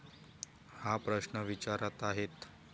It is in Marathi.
हा प्रश्न विचारत आहेत.